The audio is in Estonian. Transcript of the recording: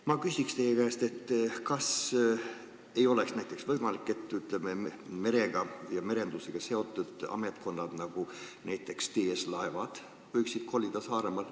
Ma küsin teie käest: kas ei oleks võimalik, et merega ja merendusega seotud ametkonnad, nagu on näiteks TS Laevad ja Veeteede Amet, koliksid Saaremaale?